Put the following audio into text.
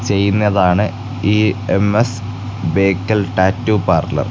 ചെയ്യുന്നതാണ് ഈ M S Bekal tattoo parlour .